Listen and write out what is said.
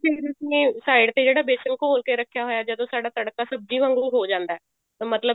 ਤੁਸੀਂ ਨੇ side ਤੇ ਜਿਹੜਾ ਬੇਸਨ ਘੋਲ ਕੇ ਰੱਖਿਆ ਹੋਇਆ ਸੀ ਜਦੋਂ ਸਾਡਾ ਤੜਕਾ ਸਬਜ਼ੀ ਵਾਂਗੂ ਹੋ ਜਾਂਦਾ ਮਤਲਬ